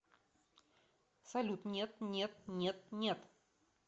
салют нет нет нет нет